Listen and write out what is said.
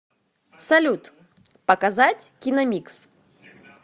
салют показать киномикс